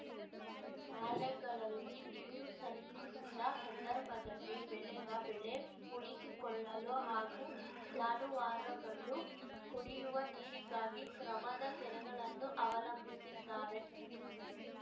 ನಾಲೆಗಳಲ್ಲಿ ನೀರು ಸಲ್ಲಿಸಿದ ಸಂದರ್ಭದಲ್ಲಿ ಬೆಳೆದ ಬೆಳೆ ಉಳಿಸಿಕೊಳ್ಳಲು ಹಾಗೂ ಜಾನುವಾರುಗಳು ಕುಡಿಯುವ ನೀರಿಗಾಗಿ ಗ್ರಮದ ಕೆರೆಗಳನ್ನು ಅವಲಂಬಿಸಿದ್ದಾರೆ